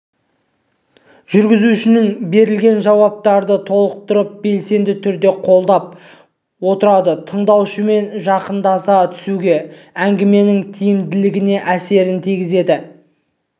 жүргізушінің берілген жауаптарды толықтырып белсенді түрде қолдап отыруы тыңдаушысымен жақындаса түсуге әңгіменің тиімділігіне әсерін тигізеді